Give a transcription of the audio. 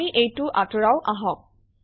আমি এইটো আঁতৰাও আহক